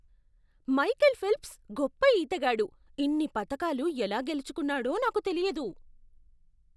Michael Phelps గొప్ప ఈతగాడు. ఇన్ని పతకాలు ఎలా గెలుచుకున్నాడో నాకు తెలియదు!